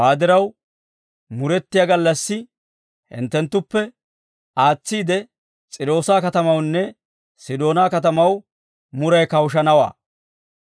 Hawaa diraw, murettiyaa gallassi hinttenttuppe aatsiide S'iiroosa katamawunne Sidoonaa katamaw muray kawushanawaa.